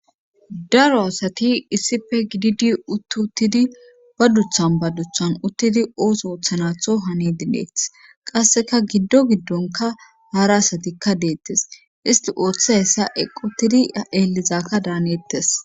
daro asati issippe gididi uttuttidi ba duthan ba duthan uttidi oos oothanatho hani dineeth qasseka giddo giddonka haara asatikka deettes isti ooththe hessa equtidi eelizakka daanettes